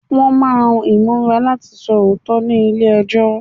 Wọ́n máa Ìbúra láti sọ òótọ́ ni ilé ẹjọ́.